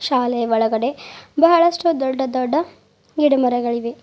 ಶಾಲೆ ಒಳಗಡೆ ಬಹಳಷ್ಟು ದೊಡ್ಡ ದೊಡ್ಡ ಗಿಡ ಮರಗಳಿವೆ.